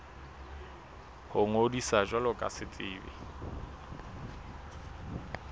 ho ngodisa jwalo ka setsebi